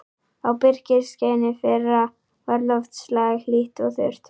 Á birkiskeiðinu fyrra var loftslag hlýtt og þurrt.